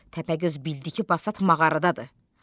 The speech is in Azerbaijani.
Təpəgöz bildi ki, Basat mağaradadır.